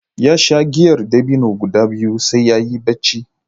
Ya sha giyar dabino guda biyu sai ya yi barci.